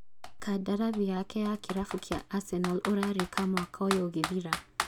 Kandarathi yake ya kĩrabu kĩa Arsenal ũrarĩka mwaka ũyũ ũgĩthira